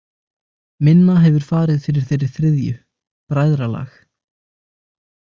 Minna hefur farið fyrir þeirri þriðju: Bræðralag.